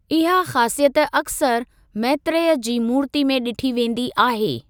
इहा ख़ासियत अक्सर मैत्रेय जी मूर्तिअ में ॾिठी वेंदी आहे।